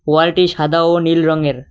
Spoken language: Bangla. ওয়ালটি সাদা ও নীল রঙের।